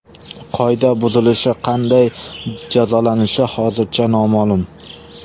Qoida buzilishi qanday jazolanishi hozircha noma’lum.